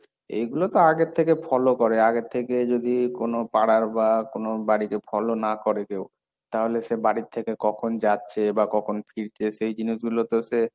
এইগুলো তো আগে থেকে follow করে, আগের থেকে যদি কোন পাড়ার বা কোন বাড়িতে follow না করে কেউ, তাহলে সে বাড়ির থেকে কখন যাচ্ছে বা কখন ফিরছে? সেই জিনিসগুলো তো সে,